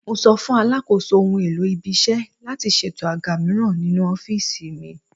Mo sọ fún Alakoso ohun-èlò ibi-iṣẹ́ láti ṣètò àga mìíràn ninú ọ́fíìsì mi.